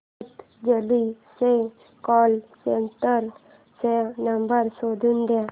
पतंजली च्या call centre चा number शोधून दे